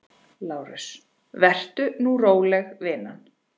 LÁRUS: Vertu nú róleg, vina.